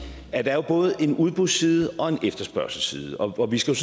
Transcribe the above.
at der både er en udbudsside og en efterspørgselsside og vi skal